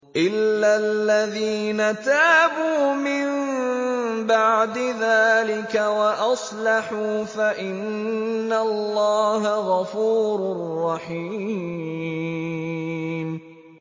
إِلَّا الَّذِينَ تَابُوا مِن بَعْدِ ذَٰلِكَ وَأَصْلَحُوا فَإِنَّ اللَّهَ غَفُورٌ رَّحِيمٌ